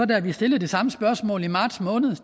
da vi stillede det samme spørgsmål i marts